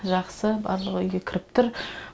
жақсы барлығы үйге кіріп тұр